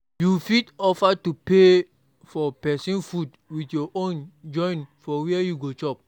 You fit offer to pay for persin food with your own join for where you go chop